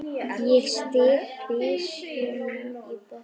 Ég stíg byssuna í botn.